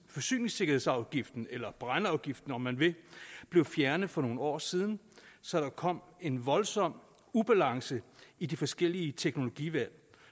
forsyningssikkerhedsafgiften eller brændeafgiften om man vil blev fjernet for nogle år siden så der kom en voldsom ubalance i de forskellige teknologivalg